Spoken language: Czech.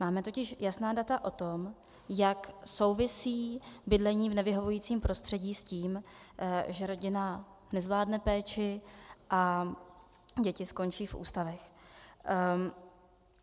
Máme totiž jasná data o tom, jak souvisí bydlení v nevyhovujícím prostředí s tím, že rodina nezvládne péči a děti skončí v ústavech.